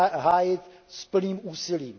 hájit s plným úsilím.